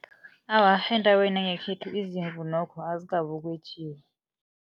Awa, endaweni yangekhethu nokho izimvu azikabi ukwetjiwa.